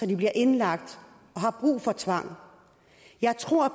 de bliver indlagt og har brug for tvang jeg tror at